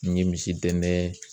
N ye misi dɛndɛn